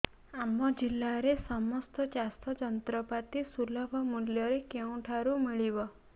ଆମ ଜିଲ୍ଲାରେ ସମସ୍ତ ଚାଷ ଯନ୍ତ୍ରପାତି ସୁଲଭ ମୁଲ୍ଯରେ କେଉଁଠାରୁ ମିଳିବ